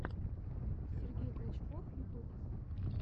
сергей клочков ютуб